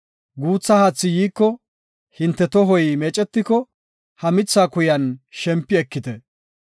Guutha haathi yiiko hinte tohoy meecetiko ha mitha kuyan shempi ekite.